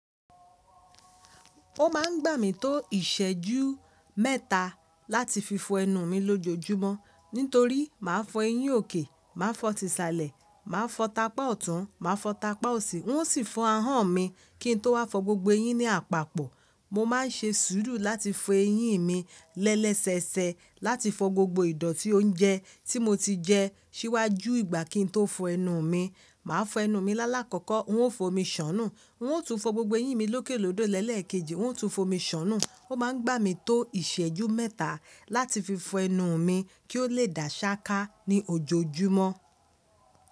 Ó máa ń gbà mí tó ìṣẹ́jú mẹ́ta láti fi fọ ẹnu mi lójojúmọ́ nítorí má fọ eyín òkè, má fọ ti ìsàlẹ̀, má fọ tapá ọ̀tún, má fọ tapá òsì, n ó sì fọ ahọ́n mi kí n tó wá fọ gbogbo eyín ní àpapọ̀. Mo ma n ṣe sùúrù láti fọ eyín mi lẹ́ẹ́sẹẹsẹ láti fọ gbogbo ìdọ̀tí oúnjẹ tí mo ti jẹ síwájú ìgbà kí n tó fọ ẹnu mi. Màá fọ ẹnu mi lálákọ́kọ́, n ó fo mi sọ́nù, wọn ó tún fọ gbogbo eyín mi lókè lódó lẹ́lẹ̀ kejì, wọn ó tún fo mi sọ́nù. O máa ń gbà mí tó ìṣẹ́jú mẹ́ta láti fi fọ ẹnu mi kí ó lè dàṣáká ní ojoojúmọ́.